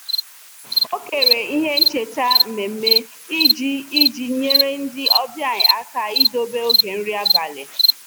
O kere ihe ncheta mmemme iji iji nyere ndị ọbịa aka idebe oge nri abalị.